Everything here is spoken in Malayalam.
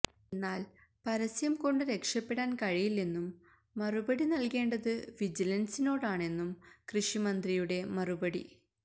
എന്നാല് പരസ്യം കൊണ്ടു രക്ഷപ്പെടാന് കഴിയില്ലെന്നും മറുപടി നല്കേണ്ടതു വിജിലന്സിനോടാണെന്നും കൃഷിമന്ത്രിയുടെ മറുപടി